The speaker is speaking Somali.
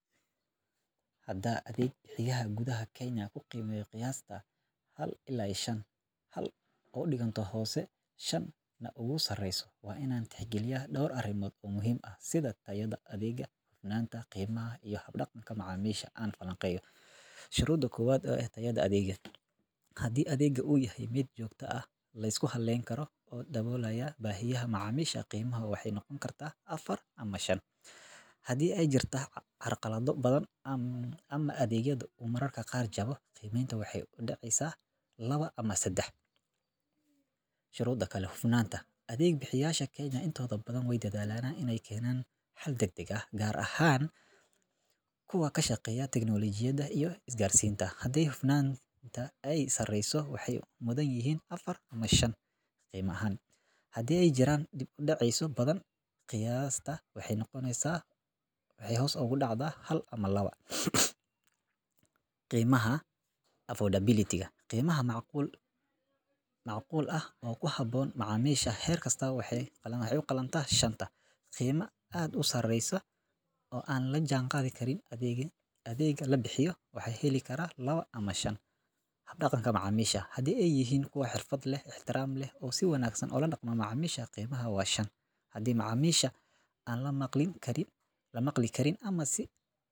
Hadan biyaha gudaha kuheli lahaa oo qiyasti u diganto hal ila shan ,Biyaha waa kuwo nadiif ah oo leh ur iyo dhadhan la’aan, taasoo muujinaysa in ay ku habboon yihiin isticmaalka guriga sida cabbitaanka, karinta iyo nadaafadda. Sidoo kale, cadaadiska biyaha ayaa joogto ah, taasoo sahleysa in si fudud loo helo biyo marka loo baahdo. Si kastaba ha ahaatee, mararka qaar waxaa dhici karta in ay yaraadaan ama go’aan muddo kooban, taasoo ka hor istaagi karta in darajada buuxda la siiyo. Haddii arrimahaas yaryar la hagaajiyo, adeegga biyaha wuxuu istaahili hadi macamisha aan lamaqli karin ama sii.